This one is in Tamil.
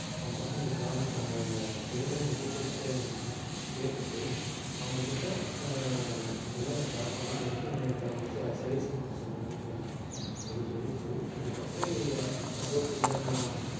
அவங்ககிட்ட இந்த job க்கான இதெல்லாம் நீங்க details கேளுங்க கேட்டுட்டு அவங்ககிட்ட ஆஹ் இந்த மாதிரி நான் job பண்ணலாம்ன்னு இருக்கேன் எனக்கு ஒரு suggestion மட்டும் சொல்லுங்கன்னு கேளுங்க அது சொல்லிட்டு அதுக்கப்புறம் நீங்க suppose இல்லை நான்